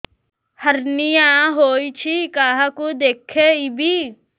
hernia ହୋଇଛି କାହାକୁ ଦେଖେଇବି